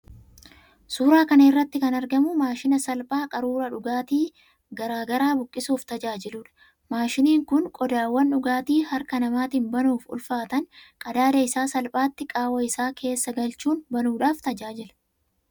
Suuraa kana irratti kan argamu maashina salphaa qaruuraa dhugaatii garaa garaa buqqisuuf tajaajiluudha. Maashiniin kun qodaawwan dhugaatii harka namaatiin banuuf ulfaatan qadaada isaa salphaatti qaawwaa isaa keessa galchuun banuudhaaf tajaajila.